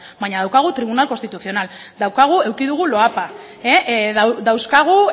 baina daukagu tribunal constitucional eduki dugu loapa dauzkagu